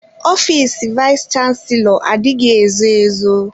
Ọfịs vayis chansilọ adịghị ezo ezo.